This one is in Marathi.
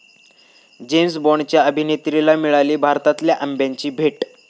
जेम्स बाँडच्या अभिनेत्रीला मिळाली भारतातल्या आंब्याची भेट